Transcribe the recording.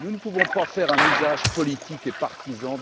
Nous ne pouvons pas en faire un usage politique et partisan.